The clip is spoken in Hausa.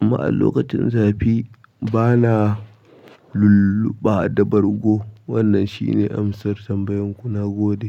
amma a lokacin zafi, bana lulluɓa da bargo. Wannan shine amsar tambayar ku na gode.